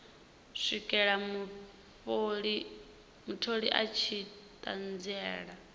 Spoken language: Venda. swikela mutholi a tshi ṱanziela